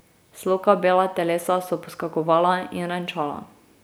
Sloka bela telesa so poskakovala in renčala.